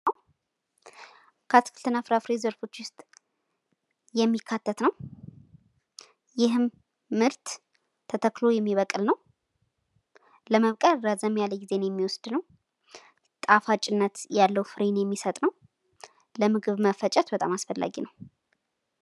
ከአትክልት እና ፍራፍሬ ዘርፎች ውስጥ የሚካተት ነው። ይህም ምርት ተተክሎ የሚበቅል ነው። ለመብቀል ረዘም ያለ ጊዜን የሚወስድ ነው። ጣፋጭነት ያለው ፍሬን የሚሰጥ ነው። ለምግብ መፈጨት በጣም አስፈላጊ ነው።